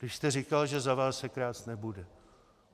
Když jste říkal, že za vás se krást nebude.